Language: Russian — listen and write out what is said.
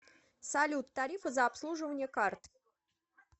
салют тарифы за обслуживание карт